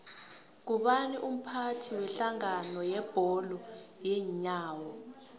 ngubani umphathi wedlangano yebholo yeenyawo